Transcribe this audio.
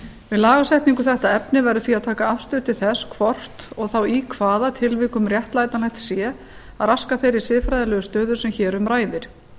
við lagasetningu um þetta efni verður því að taka afstöðu til þess hvort og þá í hvaða tilvikum réttlætanlegt sé að raska þeirri siðfræði legu stöðu sem hér um ræðir